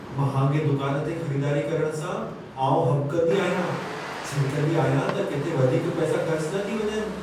महांगे दुकान ते ख़रीदारी करण सां आउं हॿिकंदी आहियां। छिरिकंदी आहियां त किथे वधीक पैसा ख़र्च न थी वञनि।